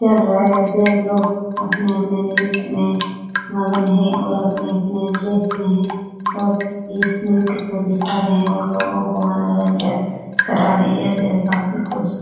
कर रहे है जो लोग अपने-अपने नृत्य में मगन हैं और अपने-अपने ड्रेस में है और इस नृत्य को दिखा रहे है और लोगो को मनोरंजन करा रहे है यह जगह काफी खूबसूरत --